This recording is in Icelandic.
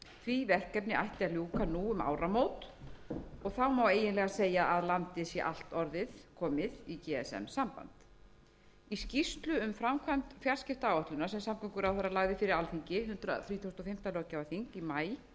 því verkefni ætti að ljúka nú um áramót og þá má eiginlega segja að landið sé allt komið í gsm samband í skýrslu um framkvæmd fjarskiptaáætlunar sem samgönguráðherra lagði fyrir alþingi hundrað þrítugasta og fimmta löggjafarþing í maí í vor kemur fram að samkvæmt fjarskiptaáætlun sé